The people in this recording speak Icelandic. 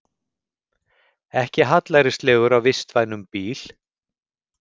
Ekki hallærislegur á vistvænum bíl